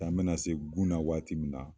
Tan bɛna se gunna waati min na